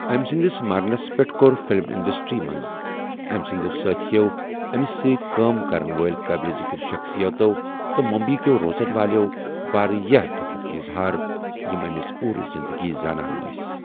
أمۍ سٕنٛدِس مَرنَس پٮ۪ٹھ کوٚر فلم انڈسٹری منٛز أمۍ سٕنٛدِ سٲتھٮ۪و، أمِس سۭتۍ کٲم کرَن وٲلۍ قٲبلِ ذِکِر شخصیتَو، تہٕ ممبئیہِ کٮ۪و روزَن والٮ۪و واریٛاہ دۄکھُک اظہار یِمۍ أمِس پوٗرٕ زِنٛدگی زانان أسی۔